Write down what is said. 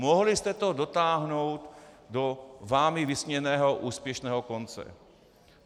Mohli jste to dotáhnout do vámi vysněného úspěšného konce.